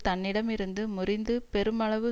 தன்னிடம் இருந்து முறிந்து பெருமளவு